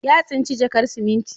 Ya tsinci jakar siminti.